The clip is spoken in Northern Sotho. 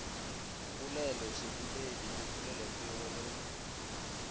poleloseboledi le polelopego le go